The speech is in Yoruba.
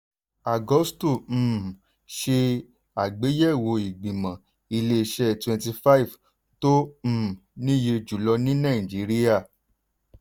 agusto um ṣe àgbéyẹ̀wò ìgbìmọ̀ ilé-iṣẹ́ twenty five tó um níye jùlọ ní nàìjíríà.